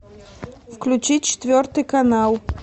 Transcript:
включи четвертый канал